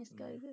ਇਸ ਕਰਕੇ।